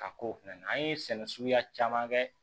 Ka k'o fɛnɛ na an ye sɛnɛ suguya caman kɛ